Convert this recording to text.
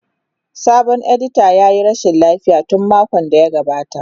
Sabon editan ya yi rashin lafiya tun makon da ya gabata.